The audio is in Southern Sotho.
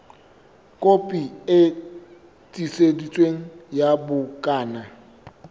kopi e tiiseditsweng ya bukana